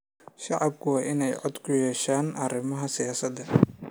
Shacabku waa in ay cod ku yeeshaan arrimaha siyaasadda.